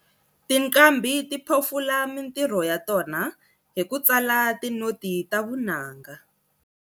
Tinqambhi ti phofula mintirho ya tona hi ku tsala tinoti ta vunanga.